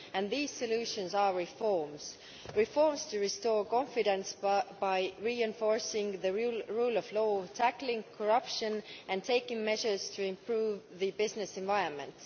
These solutions are reforms reforms to restore confidence by reinforcing the rule of law, tackling corruption and taking measures to improve the business environment.